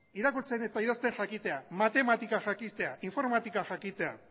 irakurtzen eta idazten jakitea matematikak jakitea informatika jakitea